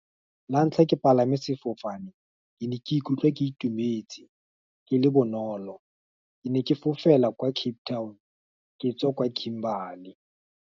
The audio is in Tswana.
La ntlha ke palame sefofane, ke ne ke ikutlwa ke itumetse, ke le bonolo, ke ne ke fofela kwa Cape Town, ka tswa kwa Kimberly.